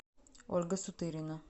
ольга сутырина